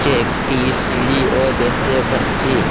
একটি সিঁড়িও দেখতে পাচ্ছি।